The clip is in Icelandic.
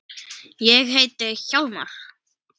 Ég heiti Hjálmar